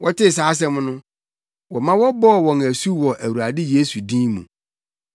Wɔtee saa asɛm no, wɔma wɔbɔɔ wɔn asu wɔ Awurade Yesu din mu.